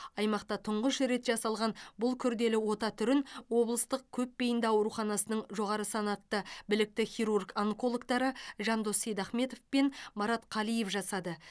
аймақта тұңғыш рет жасалған бұл күрделі ота түрін облыстық көпбейінді ауруханасының жоғары санатты білікті хирург онкологтары жандос сейдахметов пен марат қалиев жасады